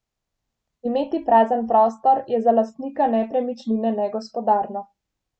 Imeti prazen prostor je za lastnika nepremičnine negospodarno.